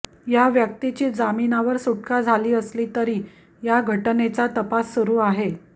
या व्यक्तीची जामिनावर सुटका झाली असली तरी या घटनेचा तपास सुरू आहे